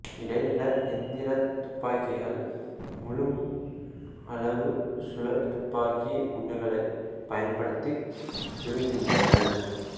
இடைநிலை எந்திரத் துப்பாக்கிகள் முழு அளவு சுழல்துப்பாக்கி குண்டுகளைப் பயன்படுத்திச் சுடுகின்றன